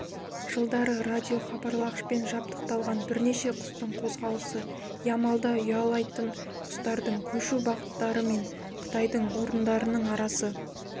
жылдары радиохабарлағашпен жабдықталған бірнеше құстың қозғалысы ямалда ұялайтын құстардың көшу бағыттары мен қыстайтын орындарының арасы